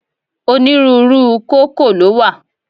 Onírúurú u kókò lówà